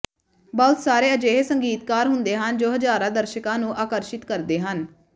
ਬਹੁਤ ਸਾਰੇ ਅਜਿਹੇ ਸੰਗੀਤਕਾਰ ਹੁੰਦੇ ਹਨ ਜੋ ਹਜ਼ਾਰਾਂ ਦਰਸ਼ਕਾਂ ਨੂੰ ਆਕਰਸ਼ਿਤ ਕਰਦੇ ਹਨ